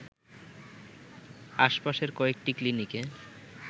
আশপাশের কয়েকটি ক্লিনিকে